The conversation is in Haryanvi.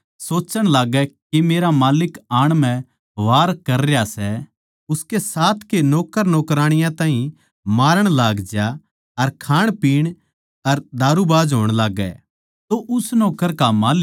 पर जै वो नौक्कर सोच्चण लाग्गै के मेरा माल्लिक आण म्ह वार कर रह्या सै उसके साथ के नौक्कर नौकराणियाँ ताहीं छेतणपिट्टण लागज्या अर खाणपीण अर दारूबाज होण लाग्गे